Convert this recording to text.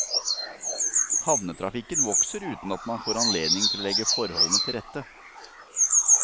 Havnetrafikken vokser uten at man får anledning til å legge forholdene til rette.